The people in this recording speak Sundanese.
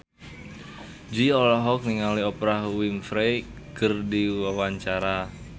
Jui olohok ningali Oprah Winfrey keur diwawancara